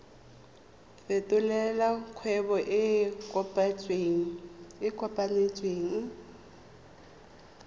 fetolela kgwebo e e kopetswengcc